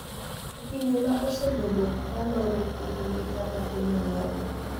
e pinje ma osebedo ka loro pinygi kaka piny Amerka.